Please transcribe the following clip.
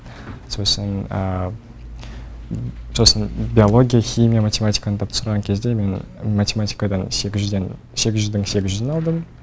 сосын сосын биология химия математиканы тапсырған кезде мен математикадан сегіз жүздің сегіз жүзін алдым